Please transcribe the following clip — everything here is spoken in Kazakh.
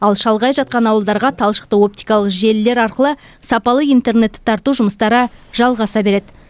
ал шалғай жатқан ауылдарға талшықты оптикалық желілер арқылы сапалы интернетті тарту жұмыстары жалғаса береді